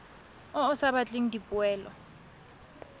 o o sa batleng dipoelo